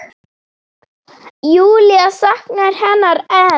Júlía saknar hennar enn.